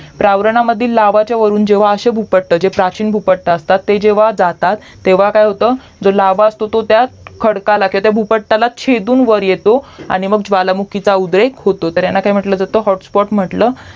प्रवारणामधील लावा वरून जेव्हा आशे भूपट्ट जे प्राचीन भूपट्ट असतात जेव्हा ते जातात तेव्हा काय होत जो लावा असतो तो त्या खडकाला त्याचा भूपट्टला छेदून वर येतो आणि मंग ज्वालामुखीचा उद्रेक होतो तर याला काय म्हंटलं जात तर HOTSPOT म्हंटलं